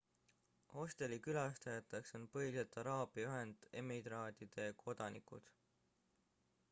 hosteli külastajateks on põhiliselt araabia ühendemiraatide kodanikud